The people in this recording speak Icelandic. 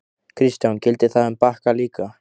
Kristján: Gildir það um Bakka líka?